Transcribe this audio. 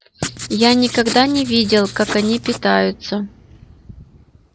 я никогда не видел как они питаются